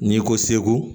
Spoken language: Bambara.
N'i ko seku